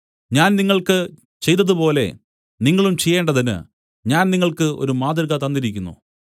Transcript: ഞാൻ നിങ്ങൾക്ക് ചെയ്തതുപോലെ നിങ്ങളും ചെയ്യേണ്ടതിന് ഞാൻ നിങ്ങൾക്ക് ഒരു മാതൃക തന്നിരിക്കുന്നു